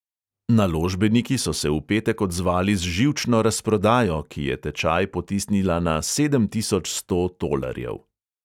Naložbeniki so se v petek odzvali z živčno razprodajo, ki je tečaj potisnila na sedem tisoč sto tolarjev.